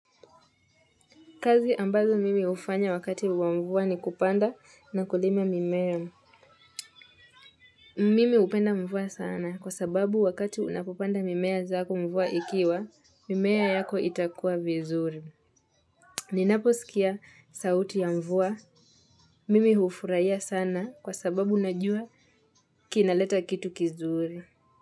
Kazi ambazo mimi hufanya wakati wa mvua ni kupanda na kulima mimea. Mimi hupenda mvua sana kwa sababu wakati unapopanda mimea zako mvua ikiwa, mimea yako itakua vizuri. Ninapo sikia sauti ya mvua. Mimi hufurahia sana kwa sababu najua kinaleta kitu kizuri.